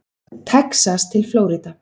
Texas til Flórída.